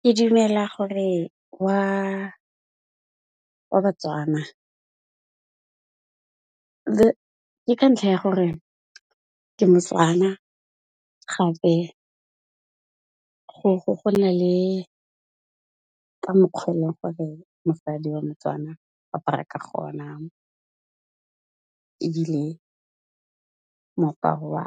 Ke dumela gore wa Batswana. Ke ka ntlha ya gore ke Motswana gape go na le ka mokgwa e le gore mosadi wa Motswana o apara ka gona, ebile moaparo wa